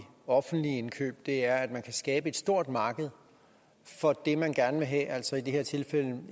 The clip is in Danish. offentlige indkøb er at man kan skabe et stort marked for det man gerne vil have altså i det her tilfælde